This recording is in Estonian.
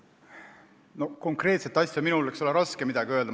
Konkreetse asja kohta on mul raske midagi öelda.